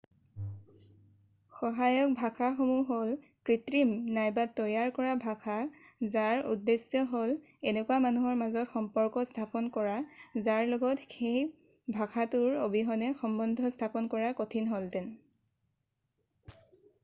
সহায়ক ভাষাসমূহ হ'ল কৃত্ৰিম নাইবা তৈয়াৰ কৰা ভাষা যাৰ উদ্দেশ্য হ'ল এনেকুৱা মানুহৰ মাজত সম্পৰ্ক স্থাপন কৰা যাৰ লগত সেই ভাষাটোৰ অবিহনে সম্বন্ধ স্থাপন কৰা কঠিন হ'লহেঁতেন